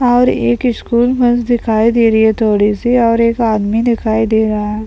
और एक school bus दिखाई दे रही है थोड़ी सी और एक आदमी दिखाई दे रहा है।